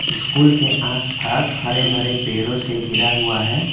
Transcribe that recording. School के आसपास हरे भरे पेड़ों से घिरा हुआ है।